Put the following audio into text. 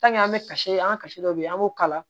an bɛ kasi an ka kasi dɔ bɛ yen an b'o kala